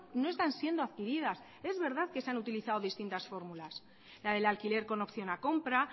no están siendo adquiridas es verdad que se han utilizado distintas fórmulas la del alquiler con opción a compra